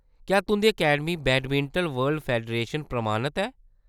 क्या तुंʼदी academy badminton world federation प्रमाणत ऐ ?